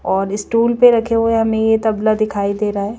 और स्टूल पे रखे हुए हमें ये तबला दिखाई दे रहा है।